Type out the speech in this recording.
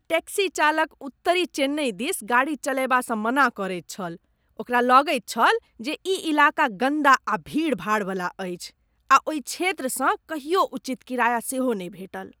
Taxi चालक उत्तरी चेन्नइ दिस गाड़ी चलयबासँ मना करैत छल। ओकरा लगैत छल जे ई इलाका गन्दा आ भीड़ भाड़वला अछि आ ओहि क्षेत्रसँ कहियो उचित किराया सेहो नहि भेटल।